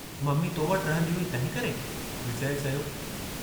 Mummy तो वटि रहंदी हुई तंहिंकरे" विजय चयो।